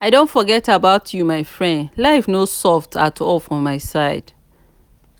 i don forget about you my friend life no soft at all for my side.